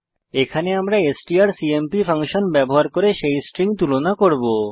এখানে আমরা strcmp function ব্যবহার করে সেই স্ট্রিং তুলনা করব